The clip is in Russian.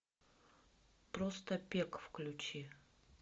просто пек включи